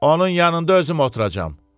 Onun yanında özüm oturacam.